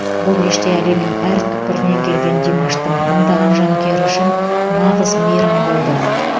бұл кеште әлемнің әр түкпірінен келген димаштың мыңдаған жанкүйері үшін нағыз мейрам болды